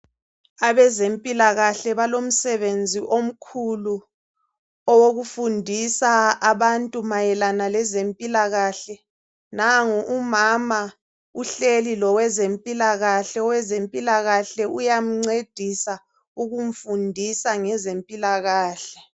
Abezempilakahle balomsebenzi omkhulu owokufundisa abantu mayelana lezempilakahle. Nangu umama uhleli lowezempilakahle , owezempilakahle uyamncedisa ukumfundisa ngezempilakahle.